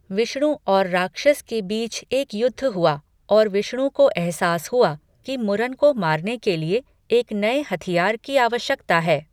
विष्णु और राक्षस के बीच एक युद्ध हुआ और विष्णु को एहसास हुआ कि मुरन को मारने के लिए एक नए हथियार की आवश्यकता है।